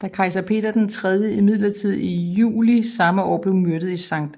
Da kejser Peter III imidlertid i juli samme år blev myrdet i Skt